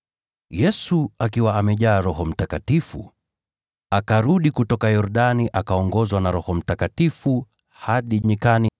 Yesu, akiwa amejaa Roho Mtakatifu, akarudi kutoka Yordani. Akaongozwa na Roho Mtakatifu hadi nyikani,